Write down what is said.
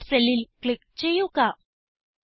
C10 സെല്ലിൽ click ചെയ്യുക